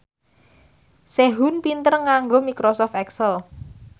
Sehun pinter nganggo microsoft excel